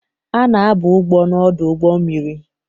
A na-aba ugbo n'ọdụ ụgbọ mmiri